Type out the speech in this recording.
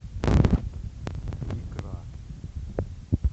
икра